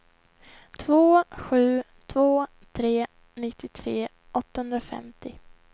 två sju två tre nittiotre åttahundrafemtio